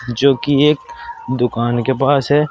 जोकि एक दुकान के पास है।